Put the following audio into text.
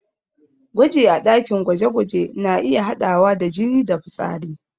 Gwaji a ɗakin gwaje-gwaje na iya haɗawa da jini da fitsari.